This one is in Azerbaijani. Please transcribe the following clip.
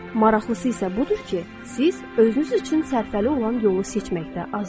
Maraqlısı isə budur ki, siz özünüz üçün sərfəli olan yolu seçməkdə azadsız.